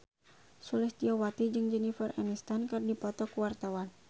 Sulistyowati jeung Jennifer Aniston keur dipoto ku wartawan